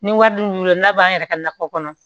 Ni wari dun b'i bolo n'a b'an yɛrɛ ka nakɔ kɔnɔ